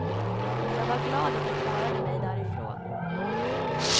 Jag var glad att jag klarade mig därifrån.